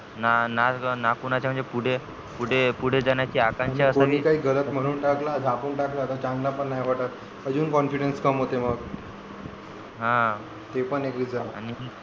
ना कोणाचे पुढे पुढे जाण्याची आकांशा असावी आणि कोणी काही गालात म्हणून टाकला झापून टाकला तर चांगला पण नाही वाटत अजून confidence कम होते मग हा ते पण एक risan